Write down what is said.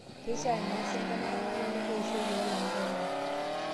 Keishiaa neasi entemata nalelek eishioi oolanterera.